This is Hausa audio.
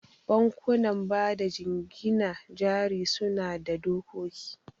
Bankunan bada jingina jari suna da dokoki.